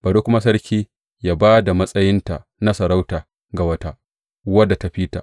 Bari kuma sarki yă ba da matsayinta na sarauta ga wata, wadda ta fi ta.